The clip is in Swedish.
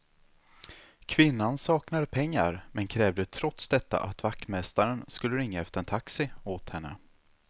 Kvinnan saknade pengar, men krävde trots detta att vaktmästaren skulle ringa efter en taxi åt henne.